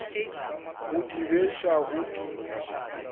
go di beša go di